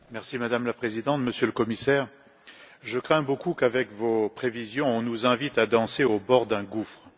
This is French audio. Madame la Présidente, Monsieur le Commissaire, je crains beaucoup qu'avec vos prévisions, on nous invite à danser au bord d'un gouffre.